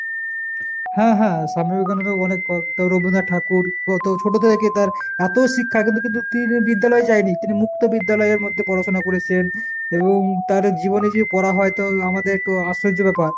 হ্যাঁ হ্যাঁ স্বামী বিবেকানন্দ অনেক তারপর রবীন্দ্রনাথ ঠাকুর কত ছোট থেকে কে তার এত শিক্ষা কিন্তু কিন্তু তিনি বিদ্যালয়ে যায়নি, তিনি মুক্ত বিদ্যালয়ের মধ্যে পড়াশুনা করেছেন। এবং তার জীবনে যে পড়া হয়তো আমাদের জীবনে হয়তো আশ্চর্য ব্যাপার।